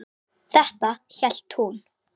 Þetta hélt hún.